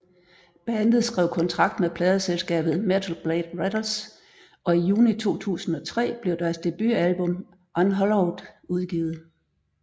Bandet skrev kontrakt med pladeselskabet Metal Blade Records og i juni 2003 blev deres debutalbum Unhallowed udgivet